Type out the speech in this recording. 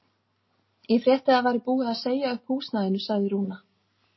Ég frétti að það væri búið að segja ykkur upp húsnæðinu, sagði Rúna.